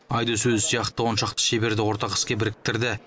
айдос өзі сияқты он шақты шеберді ортақ іске біріктірді